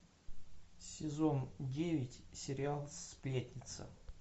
сезон девять сериал сплетница